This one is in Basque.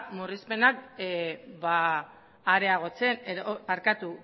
murrizpenak areagotzen edo barkatu